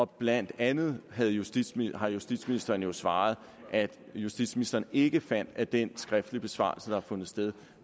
blandt andet har justitsministeren justitsministeren svaret at justitsministeren ikke fandt at den skriftlige besvarelse der har fundet sted